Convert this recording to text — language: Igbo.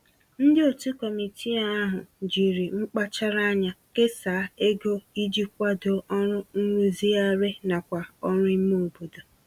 Ndị òtù committee ahụ committee ahụ jiri mkpachara ányá kesaa égo iji kwadoo ọrụ nrụzigharị nakwa oru ime obodo